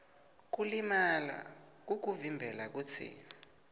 kulimala kukuvimbela kutsi